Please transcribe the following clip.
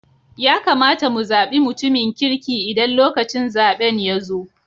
Ya kamata mu zabi mutumin kirki Idan lokacin zaben ya zo.